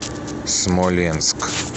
смоленск